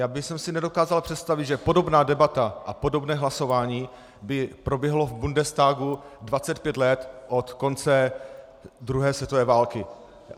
Já bych si nedokázal představit, že podobná debata a podobné hlasování by proběhlo v Bundestagu 25 let od konce druhé světové války.